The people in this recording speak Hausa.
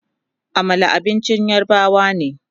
Amala abincin yarbawa ne